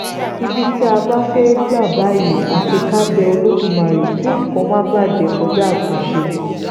ibi tí a bá fẹ́ẹ́ gbà báyìí àfi ká bẹ olódùmarè kí nǹkan má bàjẹ́ kọjá àtúnṣe